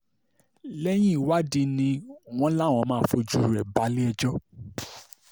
lẹ́yìn ìwádìí ni wọ́n láwọn máa fojú rẹ̀ balẹ̀-ẹjọ́